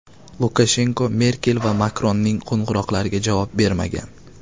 Lukashenko Merkel va Makronning qo‘ng‘iroqlariga javob bermagan.